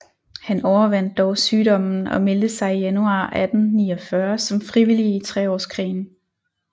Han overvandt dog sygdommen og meldte sig i januar 1849 som frivillig i Treårskrigen